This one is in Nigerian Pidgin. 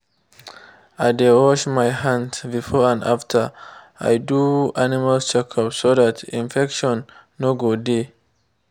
i dey wash my hands before and after i do animal check-up so that infection no go dey.